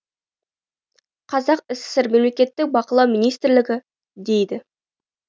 қазақ сср мемлекеттік бақылау министрлігі дейді